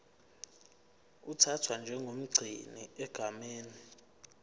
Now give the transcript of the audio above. uthathwa njengomgcini egameni